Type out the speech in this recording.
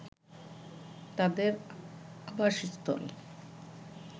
তাদের আবাসস্থল